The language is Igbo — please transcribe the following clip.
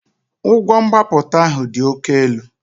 Ụgwọ mgbapụta ahụ dị oke elu